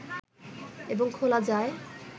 এবং খোলা যায়